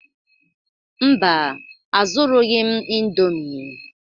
Mba, azụrụghị m indomie